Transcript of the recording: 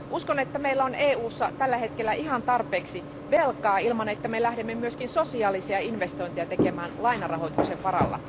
Uskon, että meillä on EUssa tällä hetkellä ihan tarpeeksi velkaa ilman, että me lähdemme myös sosiaalisia investointeja tekemään lainarahoituksen varalla.